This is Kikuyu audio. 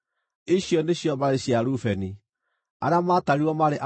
Icio nĩcio mbarĩ cia Rubeni; arĩa maatarirwo maarĩ andũ 43,730.